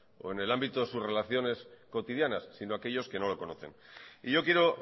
o en el ámbito de sus relaciones cotidianas sino aquellos que no lo conocen y yo quiero